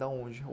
Da onde?